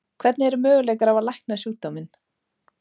Hvernig eru möguleikar á að lækna sjúkdóminn?